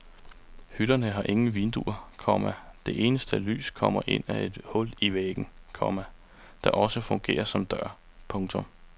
Hytterne har ingen vinduer, komma det eneste lys kommer ind ad et hul i væggen, komma der også fungerer som dør. punktum